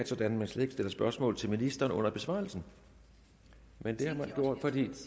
sådan at man slet ikke stiller spørgsmål til ministeren under besvarelsen men det har man gjort nu vi